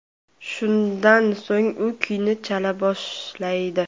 Shundan so‘ng u kuyni chala boshlaydi.